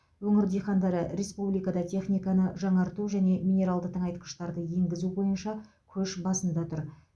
өңір диқандары республикада техниканы жаңарту және минералды тыңайтқыштарды енгізу бойынша көш басында тұр